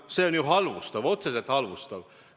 See on ju halvustav, otseselt halvustav.